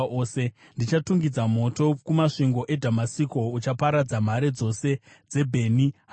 “Ndichatungidza moto kumasvingo eDhamasiko; uchaparadza nhare dzose dzaBheni-Hadhadhi.”